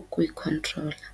ukuyikhontrola.